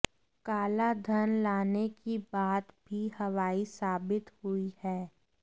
काला धन लाने की बात भी हवाई साबित हुई है